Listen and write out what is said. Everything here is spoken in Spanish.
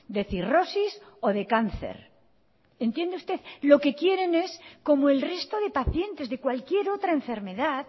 de cirrosis o de cáncer entiende usted lo que quieren es como el resto de pacientes de cualquier otra enfermedad